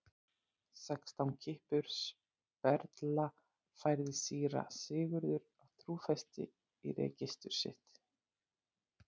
Sextán kippur sperðla, færði síra Sigurður af trúfesti í registur sitt.